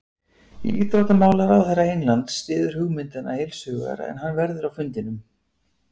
Íþróttamálaráðherra Englands styður hugmyndina heilshugar en hann verður á fundinum.